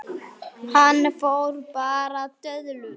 Hann fór bara í döðlur!